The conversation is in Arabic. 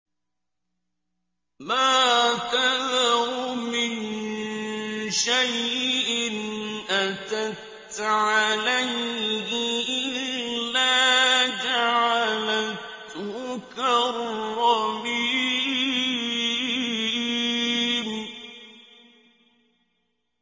مَا تَذَرُ مِن شَيْءٍ أَتَتْ عَلَيْهِ إِلَّا جَعَلَتْهُ كَالرَّمِيمِ